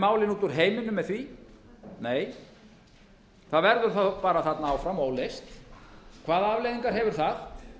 út úr heiminum með því nei það verður þá bara þarna áfram óleyst hvaða afleiðingar hefur það